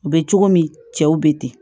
U bɛ cogo min cɛw bɛ ten